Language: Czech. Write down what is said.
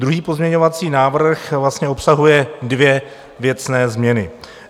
Druhý pozměňovací návrh vlastně obsahuje dvě věcné změny.